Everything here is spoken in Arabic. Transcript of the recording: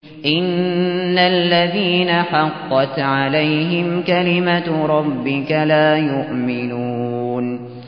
إِنَّ الَّذِينَ حَقَّتْ عَلَيْهِمْ كَلِمَتُ رَبِّكَ لَا يُؤْمِنُونَ